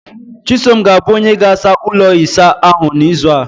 chisom ga-abụ onye ga-asa ụlọ isa ahụ n'izu a